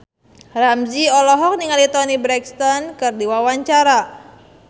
Ramzy olohok ningali Toni Brexton keur diwawancara